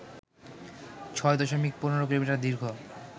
৬ দশমিক ১৫ কিলোমিটার দীর্ঘ